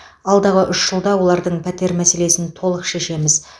алдағы үш жылда олардың пәтер мәселесін толық шешеміз